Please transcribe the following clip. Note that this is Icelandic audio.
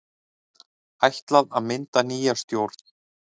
Ætlað að mynda nýja stjórn